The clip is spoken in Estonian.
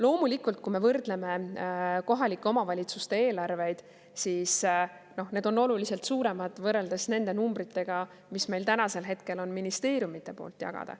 Loomulikult, kui me võrdleme kohalike omavalitsuste eelarveid, siis need on oluliselt suuremad võrreldes nende numbritega, mis meil täna on ministeeriumide poolt jagada.